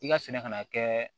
I ka sɛnɛ kana kɛ